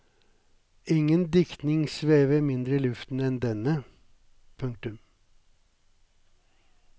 Ingen diktning svever mindre i luften enn denne. punktum